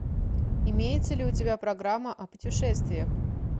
имеется ли у тебя программа о путешествиях